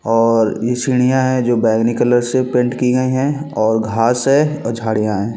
और ये सीढिया है जो बैगनी कलर से पेंट की गयी है और घास है और झाड़िया है।